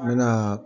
N mɛna